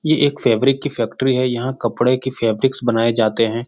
ये एक फैब्रिक की फैक्ट्री है यहाँ कपड़े की फैब्रिक्स बनाये जाते हैं।